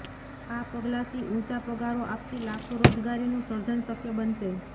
આ પગલાંથી ઊંચા પગારો આપતી લાખો રોજગારીનું સર્જન શક્ય બનશે